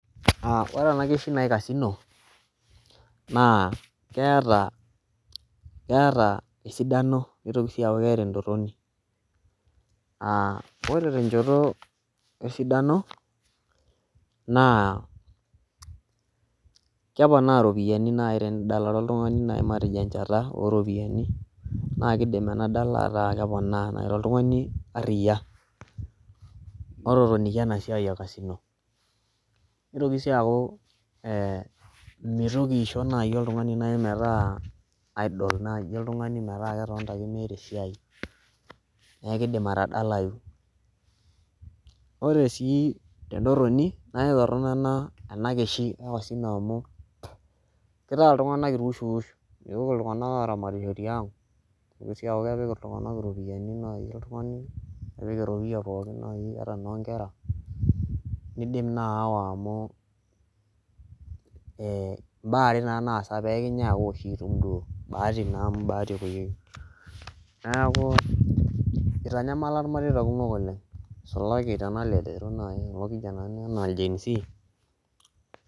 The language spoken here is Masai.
Ore ena keshi naji kasino naa keeta keeta esidano nitoki sii dii aaku keeta entoroni naa ore tenchoto esidano naa keponaa iropiyiani nayii teni dalare oltung'ani najii matejo enchata oo ropiyani naa keidim ena dala ataa keponaa naa ake oltung'ani arriya ototonikia ena siyai ee kasino neitoki sii aaku meitoki aishio nayii oltung'ani metaa idle nayii oltung'ani metaa ketonita ake meeta esiai naa keidim atadalayu oree sii tentorroni naa ketorronok ena keshi ee kasino amu keitaa intung'anak iwush iwush meitoki iltung'anak aramatisho tiang' pekuu kepik ake nayii oltung'ani irropiyiani nepik erropiyia nayii ata inoo inkera naidim naa ayawa amu imbaa are naa ake naasa pekinyae aashu bahati amu ninyee naa epoyieki neeku eitanyamala irmareita kumok oleng' isulaki tena lerero nayii orkijanani yiolotii naa enaa genz